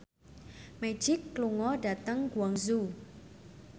Magic lunga dhateng Guangzhou